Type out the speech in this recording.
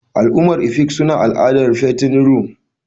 Al'ummar efik suna al'adar fattening room.